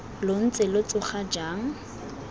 lo ntse lo tsoga jang